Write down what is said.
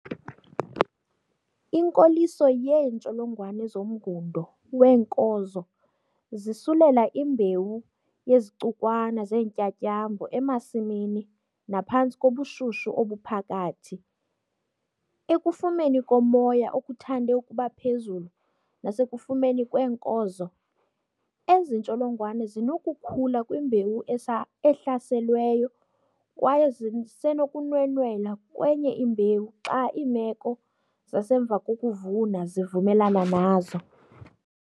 Inkoliso yeentsholongwane zomngundo weenkozo zisulela imbewu yezicukwana zeentyatyambo emasimini naphantsi kobushushu obuphakathi, ekufumeni komoya okuthande ukuba phezulu nasekufumeni kweenkozo, ezi ntsholongwane zinokukhula kwimbewu ehlaselweyo kwaye zisenokunwenwela kwenye imbewu xa iimeko zasemva kokuvuna zivumelana nazo.